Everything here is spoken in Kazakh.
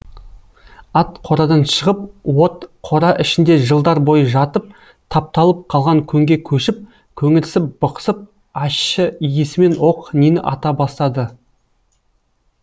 ат қорадан шығып от қора ішінде жылдар бойы жатып тапталып қалған көңге көшіп көңірсіп бықсып ащы иісімен оқ нені ата бастады